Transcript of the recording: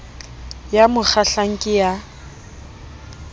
ya mo kgahlang ke ya